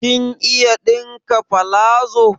Kin iya ɗinka palazo?